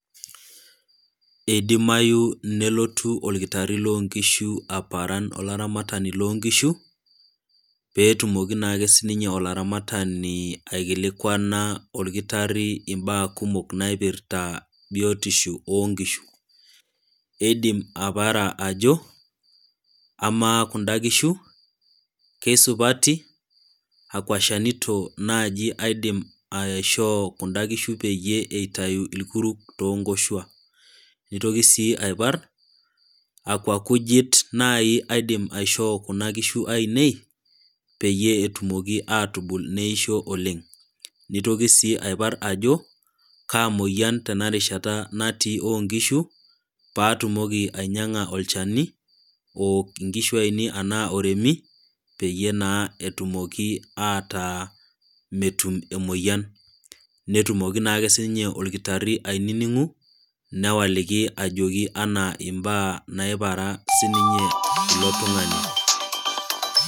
Eidimayu nelotu olkitari loonkishu nelotu aparan olaramatani loonkishu, pee etumoki naake sii ninye olaramatani aikilikwana olkitrari imbaa kumok naipirta biotisho oo nkishu. Eidim aiopara ajo, ''amaa kunda kishu, kesupati? Akwa shanito naaji aidim aishoo kunda kishu peyie eitayu ilkuruk too nkoshua?'' Neitoki sii aipar '' akwa kujit saa naaji aidim aishoo kuna kishu ainei peyie etumoki aatubul neisho oleng'? '' Neitoki sii aipar ajo, '' kaa moyian tenarishata natii oo nkishu, paatumoki anyang'a olchani, ook inkishu ainei ashu oremi, peyie naa etumoki ataa metum emoyian?'' Netumoki naake sii ninye olkitari ainining'u, newaliki naake ajoki anaa imbaa naipara ninye ilo tung'ani.